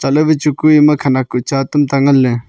ma wai chu kue ema khanak kuh cha tamta nganle.